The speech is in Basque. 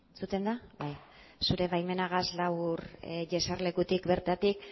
entzuten da bai zure baimenagaz labur jeserlekutik bertatik